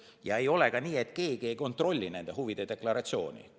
Ja ei ole ka nii, et mitte keegi ei kontrolli nende huvide deklaratsiooni.